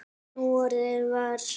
Núorðið var